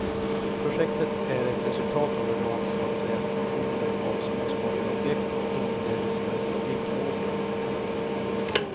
Projektet är ett resultat av en rad så att säga fusioner av småskaliga objekt och inleddes för ett tiotal år sedan.